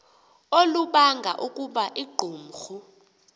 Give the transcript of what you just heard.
olubanga ukuba iqumrhu